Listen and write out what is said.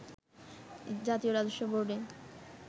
জাতীয় রাজস্ব বোর্ডে